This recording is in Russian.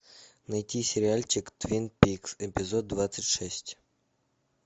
найти сериальчик твин пикс эпизод двадцать шесть